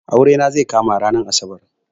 Aure na zai kama ranar asabar